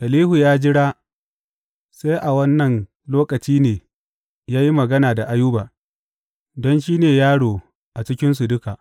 Elihu ya jira sai a wannan lokaci ne ya yi magana da Ayuba, don shi ne yaro a cikinsu duka.